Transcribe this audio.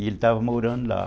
E ele estava morando lá.